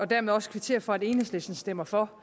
dermed også kvittere for at enhedslisten stemmer for